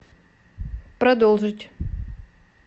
продолжить